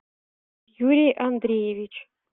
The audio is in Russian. юрий андреевич